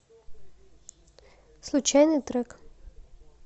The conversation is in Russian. случайный трек